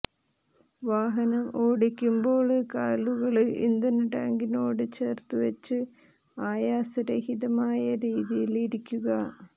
വാഹനം ഓടിക്കുമ്പോള് കാലുകള് ഇന്ധന ടാങ്കിനോട് ചേര്ത്തുവച്ച് ആയാസ രഹിതമായ രീതിയില് ഇരിക്കുക